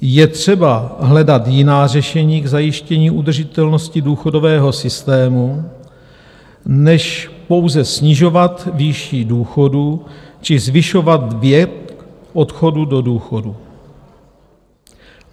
Je třeba hledat jiná řešení k zajištění udržitelnosti důchodového systému než pouze snižovat výši důchodů či zvyšovat věk odchodu do důchodu.